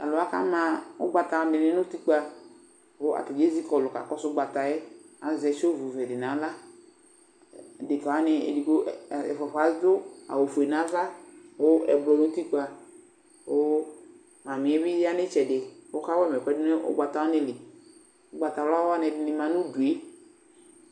Tʋ alʋ wa kama ʋgbata dɩnɩ nʋ utikpǝ kʋ atanɩ ezi kɔlʋ kakɔsʋ ʋgbata yɛ Azɛ sovvɛ dɩ nʋ aɣla Adekǝ wanɩ edigbo ɛfʋa-fʋa wanɩ adʋ awʋfue nʋ ava kʋ ɛblɔ nʋ utikpǝ kʋ mamɩ yɛ bɩ ya nʋ ɩtsɛdɩ kʋ ɔkawa ma ɛkʋɛdɩ nʋ ʋgbata wanɩ li Ʋgbatawla wanɩ ɛdɩnɩ ma nʋ udu yɛ